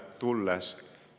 Aga nüüd tulen Eesti juurde.